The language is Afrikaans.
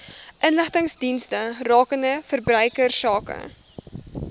inligtingsdienste rakende verbruikersake